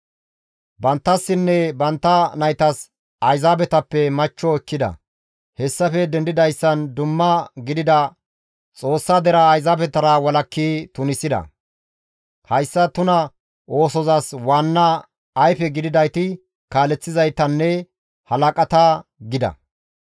Banttassinne bantta naytas Ayzaabetappe machcho ekkida; hessafe dendidayssan dumma gidida Xoossa deraa Ayzaabetara walakki tunisida; hayssa tuna oosozas waanna ayfe gididayti kaaleththizaytanne halaqata» gida.